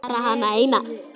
Bara hana eina.